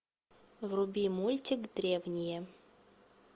вруби мультик древние